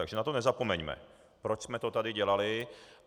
Takže na to nezapomeňme, proč jsme to tady dělali.